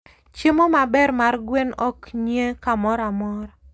Chiemo maber mar gwen oknyie kamoramora